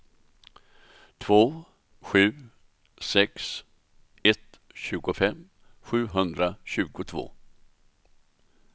två sju sex ett tjugofem sjuhundratjugotvå